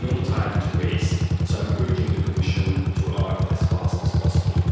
There is no time to waste, so I am urging the Commission to act as fast as possible.